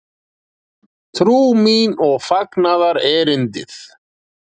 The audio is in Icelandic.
Trú mín og fagnaðarerindið?